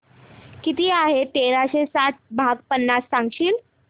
किती आहे तेराशे साठ भाग पन्नास सांगशील